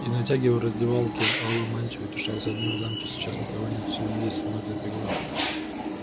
и натягивая в раздевалке алую мантию утешался одним в замке сейчас никого нет все здесь смотрят игру